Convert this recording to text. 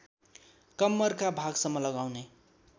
कम्मरका भागसम्म लगाउने